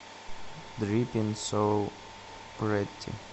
дриппин соу прэтти